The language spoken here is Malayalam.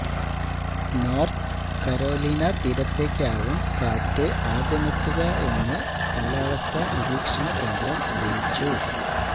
നോര്ത്ത് കരോലീന തീരത്തേക്കാവും കാറ്റ് ആദ്യമെത്തുകയെന്ന് കാലാവസ്ഥ നിരീക്ഷണ കേന്ദ്രം അറിയിച്ചു